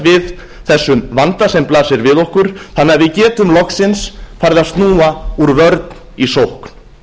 við þessum vanda sem blasir við okkur þannig að við getum loksins farið að snúa úr vörn í sókn